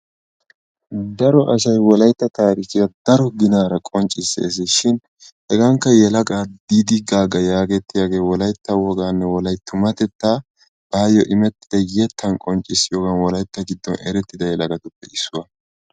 Daro asay wolaytta tarikkiya daro ginara qonccissees. shin hegaankka yelaga Didi Gaga yaagetiyage wolaytta wogaanne wolaytta tummatetta baayo immetida yetttan qonccissiyogaann wolaytta giddon erettida yelagatuppe issuwa.